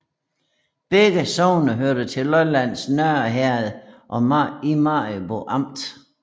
Begge sogne hørte til Lollands Nørre Herred i Maribo Amt